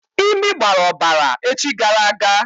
Imi gbara ọbara echi gara aga.